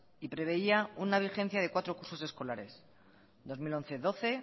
y preveía una vigencia de cuatro cursos escolares dos mil once dos mil doce